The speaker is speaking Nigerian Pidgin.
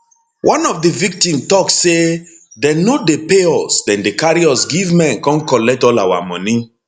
one of di victim tok say dem no dey pay us dem dey carry us give men come collect all our money